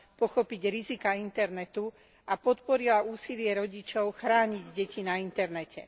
pochopiť riziká internetu a podporila úsilie rodičov chrániť deti na internete.